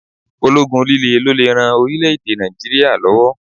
Ológun líle ló lè ran orílè-èdè Nàìjíríà lọ́wọ́.